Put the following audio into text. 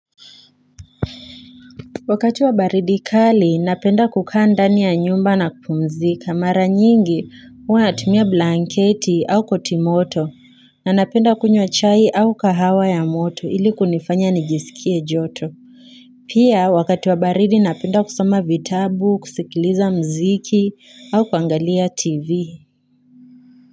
Wakati wa baridi kali napenda kukaa ndani ya nyumba na kupumzika mara nyingi wanatumia blanketi au koti moto na napenda kunywa chai au kahawa ya moto ili kunifanya nijisikie joto. Pia wakati wa baridi napenda kusoma vitabu, kusikiliza mziki au kuangalia tv.